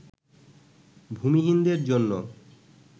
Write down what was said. ভূমিহীনদের জন্য